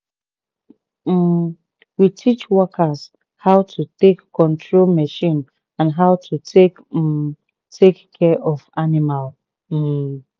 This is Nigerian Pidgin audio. um we teach workers how to take control machine and how to take um take care of animal. um